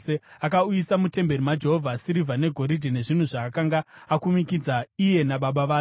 Akauyisa mutemberi yaJehovha sirivha negoridhe nezvinhu zvaakanga akumikidza iye nababa vake.